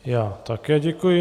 Já také děkuji.